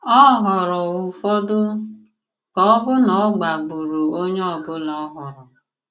Ọ̀ họ̀ọrọ ụfọdụ, ka ọ̀ bụ ná ọ̀gbà gbùrù onye ọ̀bụ̀la ọ̀hụrụ